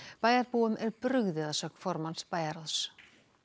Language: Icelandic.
bæjarbúum er brugðið að sögn formanns bæjarráðs